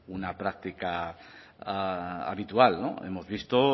una práctica habitual hemos visto